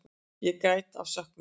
Ég græt af söknuði.